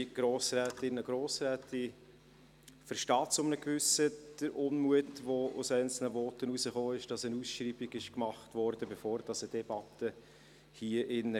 Ich verstehe zu einem gewissen Teil den Unmut, der in einzelnen Voten geäussert wurde, darüber, dass eine Ausschreibung gemacht wurde, bevor hier drinnen eine Debatte stattfand.